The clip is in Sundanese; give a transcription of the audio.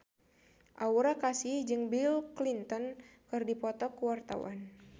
Aura Kasih jeung Bill Clinton keur dipoto ku wartawan